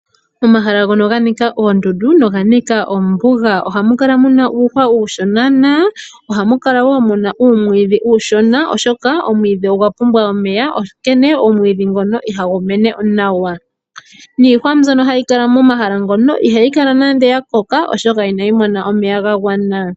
Omahala ngono ga nika oondundu noga nika ombuga ohamu kala mu na uuhwa uushona, na ohamu kala wo mu na uumwiidhi uushona oshoka omwiidhi ogwa pumbwa omeya, onkene omwiidhi ngono ihagu mene nawa. Iihwa mbyono hayi kala momahala ngono ihayi kala nando ya koka, oshoka ihayi mono omeya ga gwana.